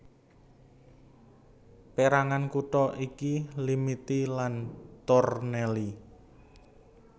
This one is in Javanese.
Pérangan kutha iki Limiti lan Tornelli